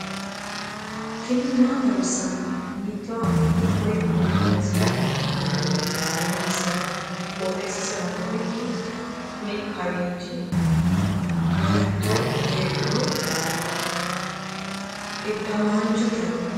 tini maa xawissanno ? hiitto akati woy kuuli noose yaa dandiinanni tenne misilera? qooxeessisera noori maati? kuni kawiichi goshshatto heedhuro iddamaanchote ledo marre foto ka'nanniwaati